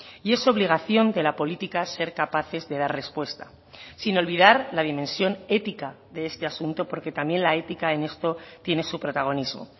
y es obligación de la política ser capaces de dar respuesta sin olvidar la dimensión ética de este asunto porque también la ética en esto tiene su protagonismo